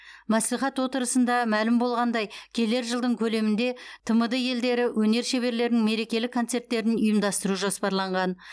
мәслихат отырысында мәлім болғандай келер жылдың көлемінде тмд елдері өнер шеберлерінің мерекелік концерттерін ұйымдастыру жоспарланған